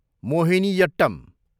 Mohiniyattam